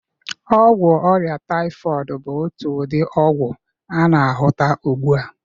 Ọgwụ ọrịa taịfọịdị bụ otu ụdị ọgwụ a na-ahụta ugbu a.